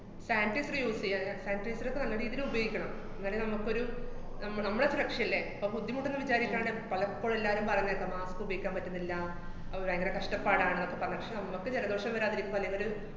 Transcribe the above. sanitizer use ചെയ്യാട്ടാ. sanitizer ഒക്കെ നല്ല രീതീല് ഉപയോഗിക്കണം. എന്നാലേ നമ്മക്കൊരു നമ്മ~ നമ്മടെ സുരക്ഷയല്ലേ, അപ്പ ബുദ്ധിമുട്ടൊന്നും വിചാരിക്കാണ്ട് പലപ്പോഴും എല്ലാരും പറയുന്ന കേക്കാം mask ഉപയോഗിക്കാന്‍ പറ്റുന്നില്ല, അത് ബയങ്കര കഷ്ടപ്പാടാണ്, ജലദോഷം വരാതിരിക്കുവാനിവര്